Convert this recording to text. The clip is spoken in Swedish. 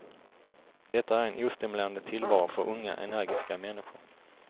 Detta är en ostimulerande tillvaro för unga, energiska människor.